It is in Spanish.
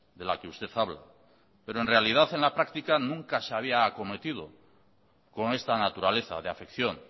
de la que usted habla pero en realidad en la práctica nunca se había acometido con esta naturaleza de afección